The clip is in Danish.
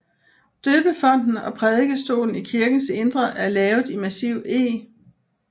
Døbefonten og prædikestolen i kirkens indre er lavet i massiv eg